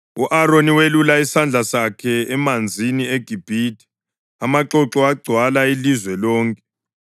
U-Aroni welulela isandla sakhe emanzini eGibhithe, amaxoxo agcwala ilizwe lonke.